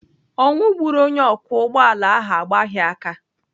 Ọnwụ gburu onye ọkwọ ụgbọala ahụ agbaghị aka.